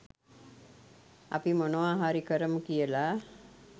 අපි මොනවා හරි කරමු කියලා.